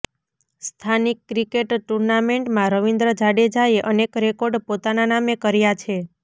સ્થાનિક ક્રિકેટ ટુર્નામેન્ટમાં રવિન્દ્ર જાડેજાએ અનેક રેકોર્ડ પોતાના નામે કર્યા છે